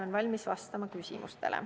Olen valmis vastama küsimustele.